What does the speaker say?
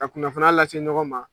Ka kunnafoniya lase ɲɔgɔn ma.